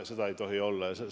Seda ei tohi olla!